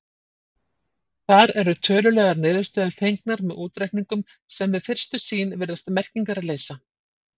Þar eru tölulegar niðurstöður fengnar með útreikningum sem við fyrstu sýn virðast merkingarleysa.